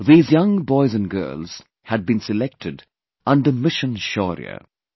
These young boys & girls had been selected under 'Mission Shaurya'